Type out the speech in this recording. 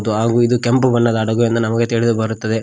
ತು ಹಾಗು ಇದು ಕೆಂಪು ಬಣ್ಣದ ಹಡಗು ಎಂದು ನಮಗೆ ತಿಳಿದು ಬರುತ್ತದೆ.